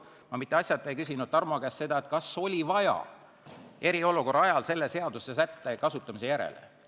Ma mitte asjata ei küsinud Tarmo käest, kas äsjase eriolukorra ajal tekkis vajadus selle seadusesätte kasutamise järele.